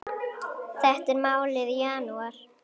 Þetta er málið í janúar.